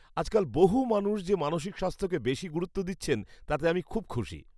আজকাল বহু মানুষ যে মানসিক স্বাস্থ্যকে বেশি গুরুত্ব দিচ্ছেন তাতে আমি খুব খুশি।